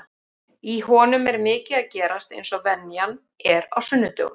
Í honum er mikið að gerast eins og venjan er á sunnudögum.